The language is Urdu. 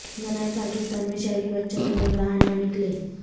نئے پاکستان میں شہری بچوں کے ساتھ باہر نہ نکلیں